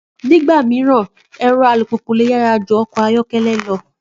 Nígbà mìíràn, ẹ̀rọ alùpùpù lè yàrá ju ọkọ̀ ayọ̀kẹ́lẹ́ lọ